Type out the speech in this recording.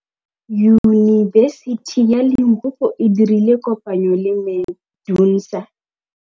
Yunibesiti ya Limpopo e dirile kopanyô le MEDUNSA.